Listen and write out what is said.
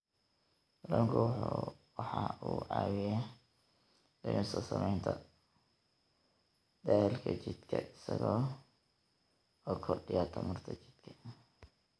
Kalluunku waxa uu caawiyaa dhimista saamaynta daalka jidhka isaga oo kordhiya tamarta jidhka.